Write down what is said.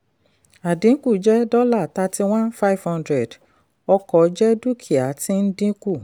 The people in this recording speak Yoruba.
àdínkù jẹ́ dollar thirty one five hundred; ọkọ̀ jẹ́ dúkìá tí ń dínkù.